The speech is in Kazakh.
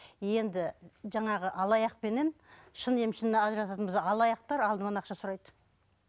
енді жаңағы алаяқпенен шын емшіні ажырататын болсақ алаяқтар алдымен ақша сұрайды